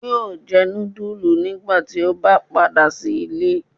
Yóò jẹ nudulú nigbati o ba pada si ile